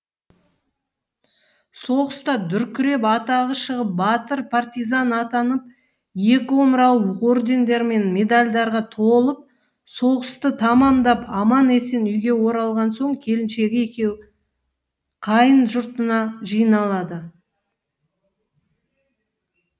соғыста дүркіреп атағы шығып батыр партизан атанып екі омырауы ордендер мен медальдарға толып соғысты тамамдап аман есен үйге оралған соң келіншегі екеуі қайын жұртына жиналады